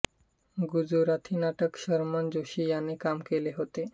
गुजराथी नाटकात शर्मन जोशी याने काम केले होते